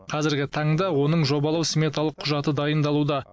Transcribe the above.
қазіргі таңда оның жобалау сметалық құжаты дайындалуда